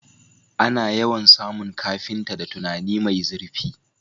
Ana yawan samun carpenter da tunani mai zirfi